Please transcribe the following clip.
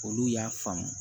Olu y'a faamu